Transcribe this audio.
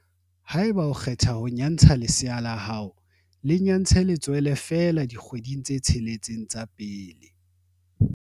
Haeba o kgetha ho nyantsha lesea la hao, le nyantshe letswele feela dikgwedi tse tsheletseng tsa pele.